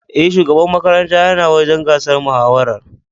E, shugaban makaranta yana wajen gasar mahawarar.